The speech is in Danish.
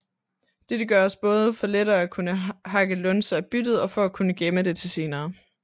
Dette gøres både for lettere at kunne hakke lunser af byttet og for at kunne gemme det til senere